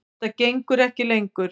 Þetta gengur ekki lengur.